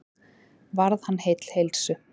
Varð hann heill heilsu.